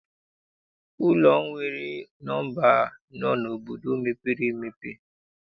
Ụlọ nwere nọmba n'obodo mepere emepe.